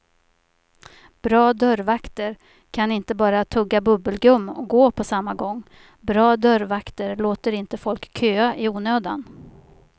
Bra dörrvakter kan inte bara tugga bubbelgum och gå på samma gång, bra dörrvakter låter inte folk köa i onödan.